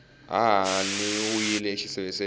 hahani u yile exiseveseveni